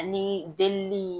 Anii del lii